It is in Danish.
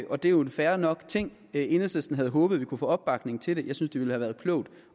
og det er jo fair nok enhedslisten havde håbet at vi kunne få opbakning til det jeg synes det ville have været klogt